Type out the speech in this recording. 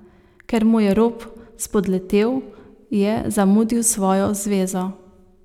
Ker mu je rop spodletel, je zamudil svojo zvezo.